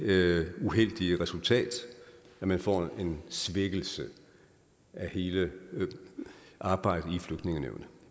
det uheldige resultat at man får en svækkelse af hele arbejdet i flygtningenævnet